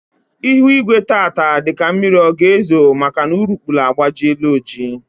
Ihu igwe tata dị ka mmiri ọ ga ezo maka na urukpuru agbajiela oji